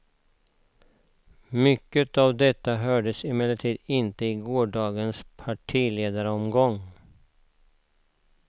Mycket av detta hördes emellertid inte i gårdagens partiledaromgång.